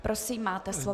Prosím, máte slovo.